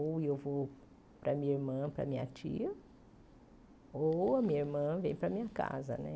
Ou eu vou para a minha irmã, para a minha tia, ou a minha irmã vem para a minha casa, né?